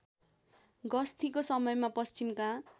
गस्तीको समयमा पश्चिमका